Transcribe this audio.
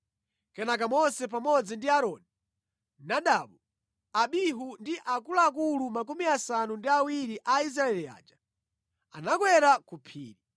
Kenaka Mose pamodzi ndi Aaroni, Nadabu, Abihu ndi akuluakulu makumi asanu ndi awiri a Israeli aja anakwera ku phiri,